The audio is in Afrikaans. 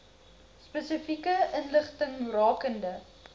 spesifieke inligting rakende